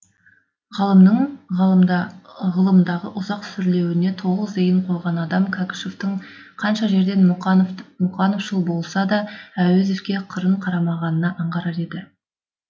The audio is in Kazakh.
ғалымның ғылымдағы ұзақ сүрлеуіне толық зейін қойған адам кәкішевтің қанша жерден мұқановшыл болса да әуезовке қырын қарамағанына аңғарар еді